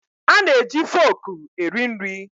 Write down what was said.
A na-eji foku eri nri.